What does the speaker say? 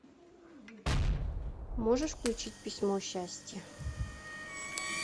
можешь включить письмо счастья